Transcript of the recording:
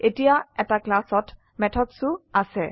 এতিয়া এটা ক্লাসত মেথডছ ও আছে